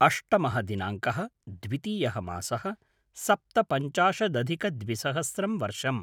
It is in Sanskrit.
अष्टमः दिनाङ्कः - द्वितीयः मासः - सप्तपञ्चाशदधिकद्विसहस्रं वर्षम्